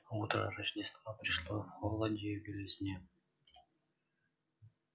утро рождества пришло в холоде и белизне